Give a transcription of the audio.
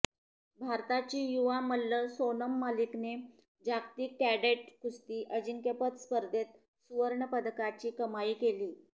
भारताची युवा मल्ल सोनम मलिकने जागतिक कॅडेट कुस्ती अजिंक्यपद स्पर्धेत सुवर्णपदकाची कमाई केली